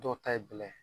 Dɔw ta ye bɛlɛ ye